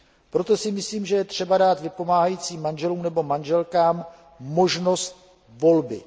Proto si myslím, že je třeba dát vypomáhajícím manželům nebo manželkám možnost volby.